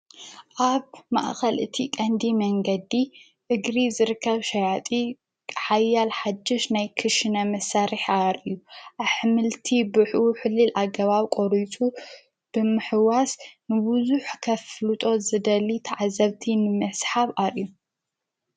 ኣብ ማእኸል እቲ ቐንዲ መንገዲ እግሪ ዘርከብ ሻያጢ ሓያል ሓጀሽ ናይ ክሽነ መሳሪሕ ኣር እዩ ኣኅምልቲ ብኁ ሕሊል ኣገባብ ቆሪቱ ብምሕዋስ ንብዙኅ ከፍሉጦት ዝደሊ ተዓዘብቲ ንምስሓብ እዩ።